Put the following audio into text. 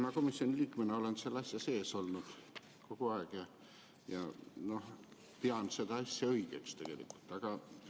Ma komisjoni liikmena olen selle asja sees olnud kogu aeg ja pean seda asja tegelikult õigeks.